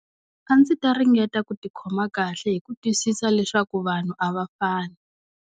A ndzi ta ringeta ku tikhoma kahle hi ku twisisa leswaku vanhu a va fani.